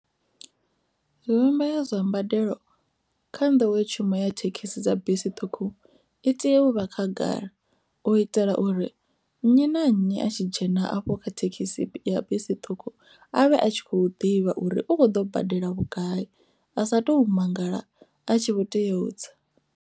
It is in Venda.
Zwivhumbeo zwa mbadelo kha nḓowetshumo ya thekhisi dza bisi ṱhukhu i tea u vha khagala u itela uri nnyi na nnyi a tshi dzhena afho kha thekhisi ya bisi ṱhukhu avhe a tshi kho ḓivha uri u kho ḓo badela vhugai a sa tou mangala a tshi vho tea u tsa.